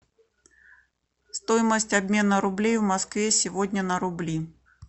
стоимость обмена рублей в москве сегодня на рубли